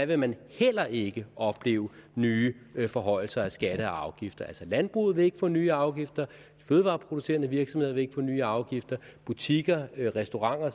vil man heller ikke opleve nye forhøjelser af skatter og afgifter altså landbruget vil ikke få nye afgifter de fødevareproducerende virksomheder vi ikke få nye afgifter butikker restauranter